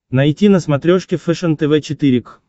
найти на смотрешке фэшен тв четыре к